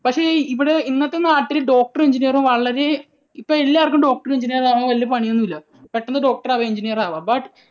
പക്ഷേ ഇവിടെ ഇന്നത്തെ നാട്ടിൽ doctor ഉം engineer ഉം വളരെ ഇപ്പോൾ എല്ലാവർക്കും doctor ഉം engineer ഉം ആകാൻ വലിയ പണിയൊന്നുമില്ല. പെട്ടെന്ന് doctor ആകാം engineer ആകാം. But